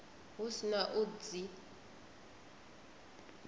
hu si na u dzi